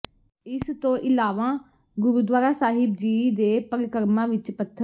ਇਸ ਤੋ ਇਲਾਵਾਂ ਗੁਰਦੁਆਰਾਂ ਸਾਹਿਬ ਜੀ ਦੇ ਪ੍ਰਕਰਮਾਂ ਵਿੱਚ ਪੱਥਰ